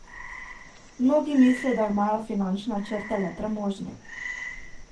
Mnogi mislijo, da imajo finančne načrte le premožni.